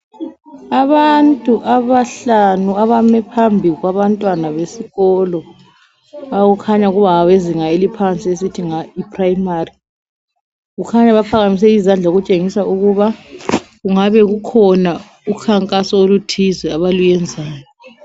Abantu abahlanu abami phambi kwabantwana besikolo okukhanya kungabezinga eliphansi esithi yiprimary kukhanya baphakamise izandla okutshengisa ukuba kungabe kukhona ukhankaso oluthilze abalezayo.